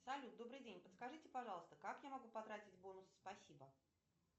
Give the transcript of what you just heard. салют добрый день подскажите пожалуйста как я могу потратить бонусы спасибо